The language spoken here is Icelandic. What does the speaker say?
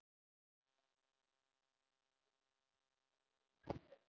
Þú hefur hann ekki frá mér.